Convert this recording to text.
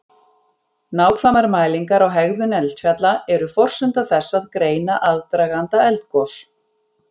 Nákvæmar mælingar á hegðun eldfjalla eru forsenda þess að greina aðdraganda eldgos.